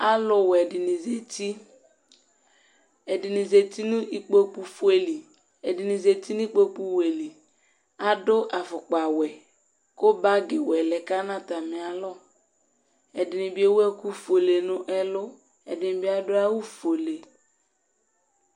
Alʊ wɛ dɖɩŋɩ zatɩ, ɛɖɩŋɩ zatɩ ŋu ɩƙpoƙʊ ƒoélé lɩ, ɛdɖɩŋi zatɩ ŋʊ ɩƙpoƙu wɛ lɩ Aɖʊ aƒʊkpa wɛ, ƙʊ ɓagi wɛ lɛ ƙama ŋʊ tamɩalɔ Ɛɖɩnɩ éwʊ ɛƙʊ ƒoélé ŋɛ lʊ Ɛɖɩŋɩ ɓɩ aɖʊ awʊ ƒoélé